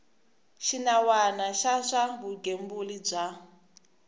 xinawana xa swa vugembuli bya